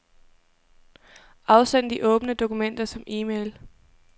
Afsend de åbne dokumenter som e-mail.